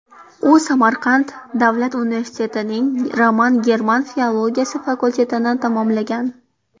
U Samarqand davlat universitetining roman-german filologiyasi fakultetini tamomlagan.